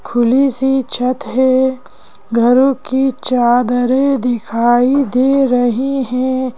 खुली सी छत है घरों की चादरें दिखाई दे रहे हैं।